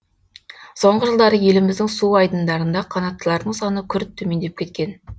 соңғы жылдары еліміздің су айдындарында қанаттылардың саны күрт төмендеп кеткен